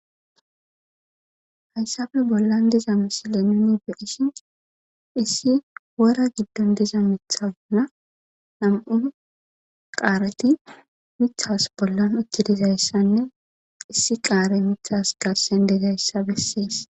Haysappe bollan diza misile nuni be'ishin issi wora giddon diza miththa bolla nam'u qaareti miththas bollan utti dizaysanne, issi qaarey miththas garsen dizaysa beeses.